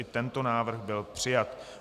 I tento návrh byl přijat.